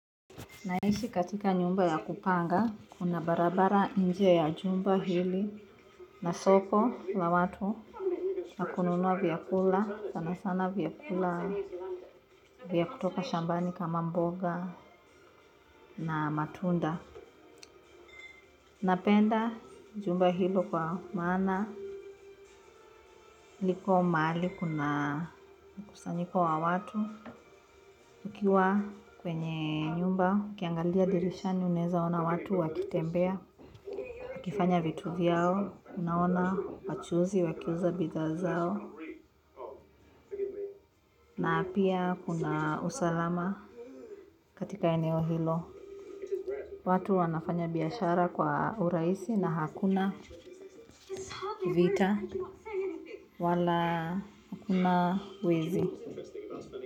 Naishi katika nyumba ya kupanga. Kuna barabara nje ya jumba hili, na soko la watu la kununua vyakula, sana sana vyakula vya kutoka shambani, kama mboga na matunda. Napenda jumba hilo kwa maana liko mahali kuna mkusanyiko wa watu. Ukiwa kwenye nyumba, ukiangalia dirishani, unaweza ona watu wakitembea. Wakifanya vitu vyao, unaona wachuuzi wakiuza bidhaa zao. Na pia kuna usalama katika eneo hilo. Watu wanafanya biashara kwa urahisi na hakuna vita wala hakuna wizi.